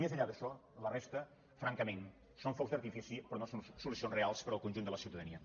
més enllà d’això la resta francament són focs d’artifici però no són solucions reals per al conjunt de la ciutadania